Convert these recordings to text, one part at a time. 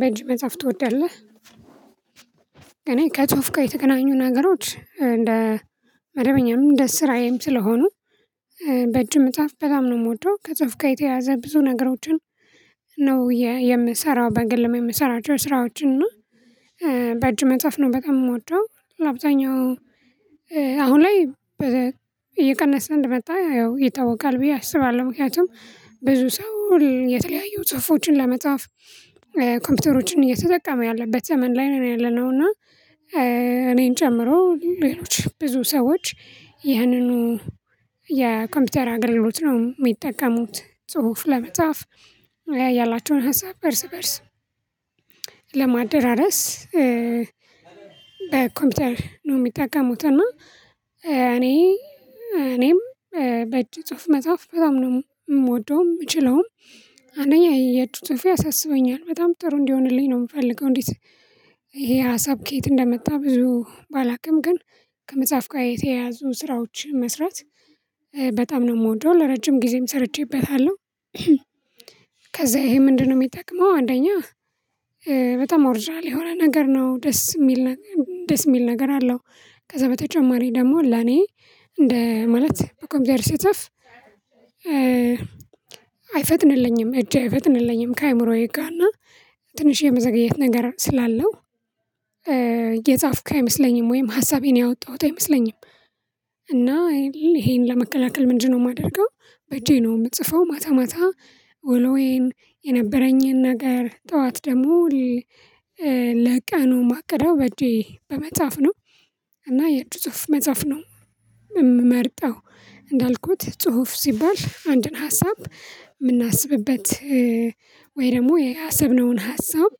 በእጅ መጽሐፍ ትወዳለህ እኔ ከጽሁፍ ጋር የተገናኙ ነገሮች እንደ መደበኛም እንደ ስራዬም ስለሆኑ በእጅ መጻፍ በጣም ነው የምወደው። ከጽፍ ጋር የተያያዘ ብዙ ነገሮችን ነው የ የምሰራው በግልም የምሰራቸው ስራዎችን እና በእጅ መጻፍ ነው በጣም የምወደው ለአብዛኛው አሁን ላይ በ እየቀነሰ እንደመጣ ያው ይታወቃል ብዬ አስባለሁ። ምክንያቱም ብዙ ሰው የተለያዩ ጽሁፎችን ለመጻፍ ኮምፒውተሮችን እየተጠቀመ ያለበት ዘመን ላይ ነን ያለነው እና እኔን ጨምሮ ሌሎች ብዙ ሰዎች ያንኑ የኮምፒውተር አገልግሎት ነው የሚጠቀሙት ጽሁፍ ለመጻፍ ያላቸውን ሀሳብ እርስ በእርስ ለማደራረስ በኮምፒውተር ነው የሚጠቀሙት እና እኔ እኔም በእጅ ጽሁፍ መጻፍ በጣም ነው የምወደውም የምችለውም። አንደኛ የእጁ ጽሁፌ ያሳስበኛል በጣም ጥሩ እንዲሆንልኝ ነው የምፈልገው። እንዴት ይሄ ሀሳብ ከየት እንደመጣ ብዙ ባላውቅም ግን ከመጻፍ ጋር የተያያዙ ስራዎች መስራት በጣም ነው የምወደው ለረጅም ጊዜም ሰርቼበታለሁ። ከዛ ይሄ ምንድነው የሚጠቅመው አንደኛ በጣም ኦርጅናል የሆነ ነገር ነው ደስ የሚል ነገ ደስ የሚል ነገር አለው። ከዛ በተጨማሪ ደግሞ ለኔ እንደ ማለት በኮምፒተር ሲጻፍ አይፈጥንልኝም እጄ አይፈጥንልኝም ከአእምሮዬ ጋር እና ትንሽ የመዘግየት ነገር ስላለው እየጻፍኩ አይመስለኝም ወይም ሀሳቤን ያወጣሁት አይመስለኝም። እና ይሄን ለመከላከል ምንድንነው የማደርገው በእጄ ነው የምጽፈው ማታ ማታ ውሎዬን የነበረኝን ነገር፣ ጠዋት ደግሞ ለቀኑ ማቅደው በእጄ በመጻፍ ነው እና የእጅ ጽሁፍ መጻፍ ነው የምመርጠው። እንዳልኩት ጽሁፍ ሲባል አንድን ሀሳብ የምናስብበት ወይ ደግሞ ያሰብነውን ሀሳብ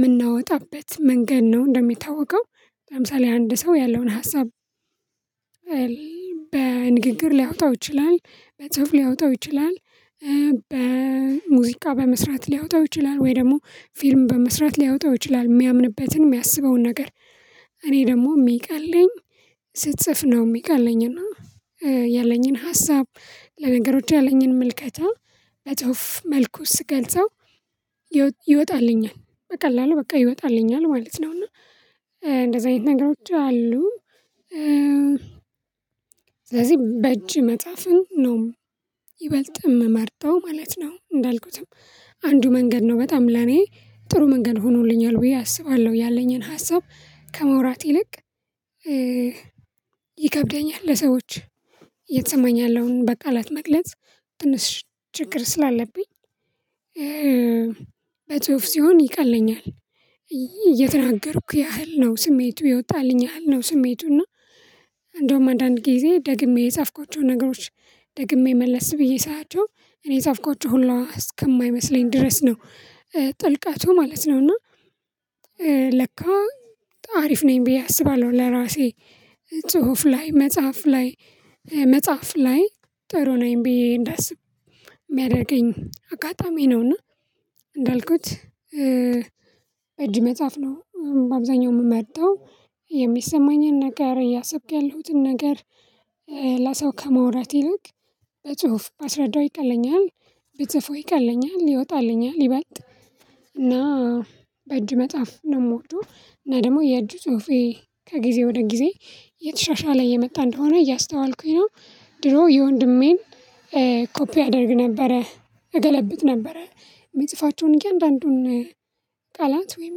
ምናወጣበት መንገድ ነው እንደሚታወቀው ለምሳሌ አንድ ሰው ያለውን ሀሳብ በንግግር ሊያወጣው ይችላል፤ በጽሁፍ ሊያወጣው ይችላል፤ በሙዚቃ በመስራት ሊያወጣው ይችላል ወይ ደግሞ ፊልም በመስራት ሊያወጣው ይችላል የሚያምንበትን የሚያስበውን ነገር እኔ ደግሞ የሚቀለኝ ስጽፍ ነው የሚቀለኝ እና ያለኝን ሀሳብ፣ ለነገሮች ያለኝን ምልከታ በጽሁፍ መልኩ ስገልጸው ይወጣልኛል በቀላለሉ በቃ ይወጣልኛል ማለት ነው፤ እና እንደዛ አይነት ነገሮች አሉ። ስለዚህ በእጅ መጻፍን ነው ይበልጥ የምመርጠው ማለት ነው እንዳልኩትም አንዱ መንገድ ነው በጣም ለኔ ጥሩ መንገድ ሆኖልኛል ብዬ አስባለሁ ያለኝን ሀሳብ ከማውራት ይልቅ ይከብደኛል ለሰዎች እየተሰማኝ ያለውን በቃላት መግለጽ ትንሽ ችግር ስላለብኝ በጽሁፍ ሲሆን ይቀለኛ። የተናገርኩ ያህል ነው ስሜቱ የወጣልኝ ያህል ነው ስሜቱ እና እንደውም አንዳንድ ጊዜ ደግሜ የጻፍኳቸውን ነገሮች ደግሜ መለስ ብዬ ሳያቸው እኔ የጻፍኳቸው ሁላ እስከማይመስለኝ ድረስ ነው ጥልቀቱ ማለት ነው እና ለካ አሪፍ ነኝ ብዬ አስባለሁ ለራሴ ጽሁፍ ላይ መጻፍ ላይ መጻፍ ላይ ጥሩ ነኝ ብዬ እንዳስብ የሚያደርገኝ አጋጣሚ ነውና እንዳልኩት በእጅ መጻፍ ነው በአብዛኛው የምመርጣው። የሚሰማኝን ነገር፣ እያሰብኩ ያለሁትን ነገር፣ ለሰው ከማውራት ይልቅ በጽሁፍ ባስረዳው ይቀለኛል ብጽፈው ይቀለኛል ይወጣልኛል ይበልጥ እና በእጅ መጻፍ ነው የምወደው እና ደግሞ የእጅ ጽሁፌ ከጊዜ ወደ ጊዜ እየተሻሻለ እየመጣ እንደሆነ እያስተዋልኩኝ ነው። ድሮ የወንድሜን ኮፒ አደርግ ነበረ እገለብጥ ነበረ። የሚጽፋቸውን እያንዳንዱን ቃላት ወይም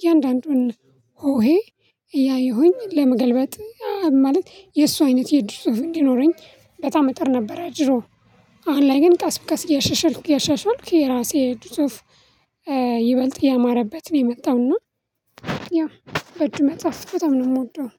እያንዳንዱን ሆሄ እያየሁኝ ለመገልበጥ ማለት የእሱ አይነት የእጁ ጽሁፍ እንዲኖረኝ በጣም እጥር ነበረ ድሮ፤ አሁን ላይ ግን ቀስ በቀስ እያሻሻልኩ እያሻሻልኩ የራሴ የእጅ ጽሁፍ ይበልጥ እያማረበት ነው የመጣው እና ያው በእጅ መጻፍ በጠም ነው የምወደው።